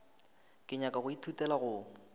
ke nyaka go ithutela go